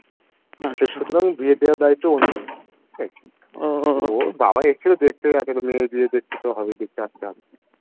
সেই সুতরাং বিয়ে দেওয়ার দায়িত্বও ওনাদের ওর বাবা এসেছিলো দেখতে মেয়ের বিয়ে দেখতে তো হবেই দেখতে আসতে হবে